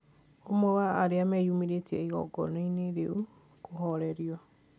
ũmwe wa arĩa meyũmĩrĩtie igongona-inĩ rĩu akĩhorerio